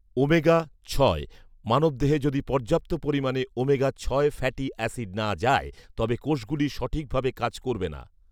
omega ছয়, মানবদেহে যদি পর্যাপ্ত পরিমাণে ওমেগা ছয় ফ্যাটি অ্যাসিড না যায়, তবে কোষগুলি সঠিকভাবে কাজ করবে না